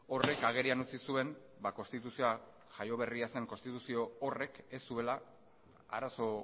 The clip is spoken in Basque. horrek agerian utzi zuen konstituzioa jaio berria zen konstituzio horrek ez zuela arazo